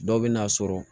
Dɔw bɛ n'a sɔrɔ